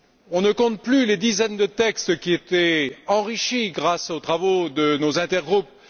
On ne compte plus les dizaines de textes qui étaient enrichis grâce aux travaux de nos intergroupes